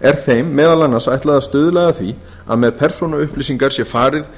er þeim meðal annars ætlað að stuðla að því að með persónuupplýsingar sé farið